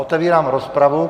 Otevírám rozpravu.